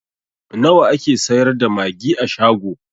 Nawa ake sayar da magi a shago?